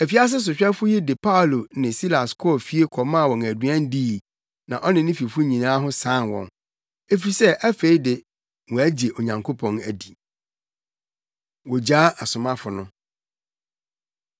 Afiase sohwɛfo yi de Paulo ne Silas kɔɔ fie kɔmaa wɔn aduan dii na ɔne ne fifo nyinaa ho san wɔn, efisɛ afei de, wɔagye Onyankopɔn adi. Wogyaa Asomafo No